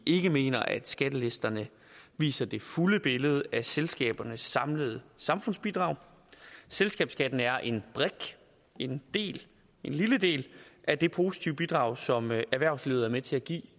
ikke mener at skattelisterne viser det fulde billede af selskabernes samlede samfundsbidrag selskabsskatten er en brik en lille del af det positive bidrag som erhvervslivet er med til at give